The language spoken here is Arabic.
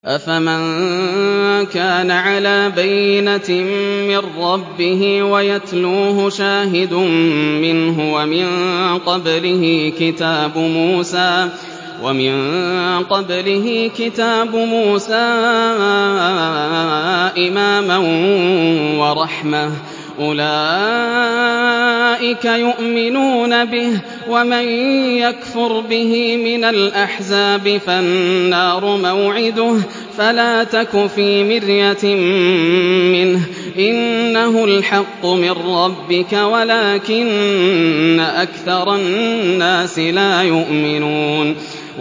أَفَمَن كَانَ عَلَىٰ بَيِّنَةٍ مِّن رَّبِّهِ وَيَتْلُوهُ شَاهِدٌ مِّنْهُ وَمِن قَبْلِهِ كِتَابُ مُوسَىٰ إِمَامًا وَرَحْمَةً ۚ أُولَٰئِكَ يُؤْمِنُونَ بِهِ ۚ وَمَن يَكْفُرْ بِهِ مِنَ الْأَحْزَابِ فَالنَّارُ مَوْعِدُهُ ۚ فَلَا تَكُ فِي مِرْيَةٍ مِّنْهُ ۚ إِنَّهُ الْحَقُّ مِن رَّبِّكَ وَلَٰكِنَّ أَكْثَرَ النَّاسِ لَا يُؤْمِنُونَ